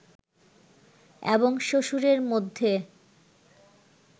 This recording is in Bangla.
এবং শ্বশুরের মধ্যে